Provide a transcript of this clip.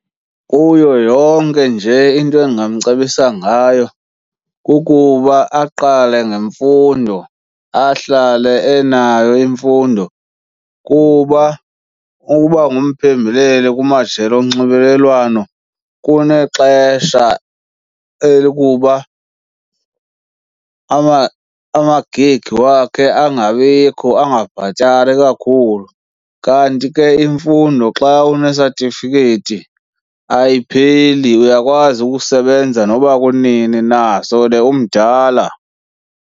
Kuyo yonke nje into endingamcebisa ngayo kukuba aqale ngemfundo, ahlale enayo imfundo kuba ukuba ngumphembeleli kumajelo onxibelelwano kunexesha elokuba ama-gig wakhe angabikho, angabhatali kakhulu. Kanti ke imfundo xa unesatifiketi ayipheli, uyakwazi ukusebenza noba kunini na sele umdala.